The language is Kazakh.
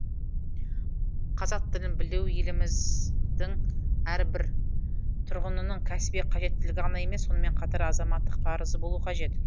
қазақ тілін білу еліміздің әрбір тұрғынының кәсіби қажеттілігі ғана емес сонымен қатар азаматтық парызы болуы қажет